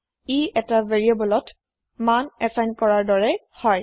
ইটা ভেৰিয়েবলত value assign কৰাৰ দৰে হয়